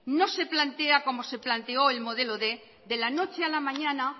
no se plantea como se planteó el modelo quinientos de la noche a la mañana